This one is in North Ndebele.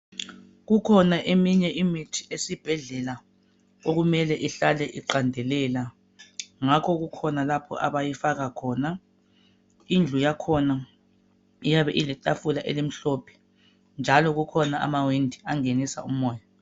Kukhona eminye imithi esibhedlela okumele ihlale iqandelela, ngakho kukhona lapho abayifaka khona .Indlu yakhona iyabe iletafula elimhlophe njalo kukhona amawindi angenisa umoya.